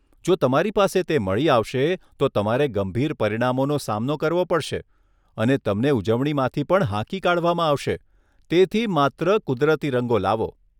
જો તમારી પાસે તે મળી આવશે, તો તમારે ગંભીર પરિણામોનો સામનો કરવો પડશે અને તમને ઉજવણીમાંથી પણ હાંકી કાઢવામાં આવશે, તેથી માત્ર કુદરતી રંગો લાવો!